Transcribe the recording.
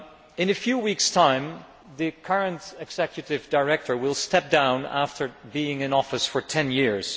In a few weeks' time, the current Executive Director will step down after being in office for ten years.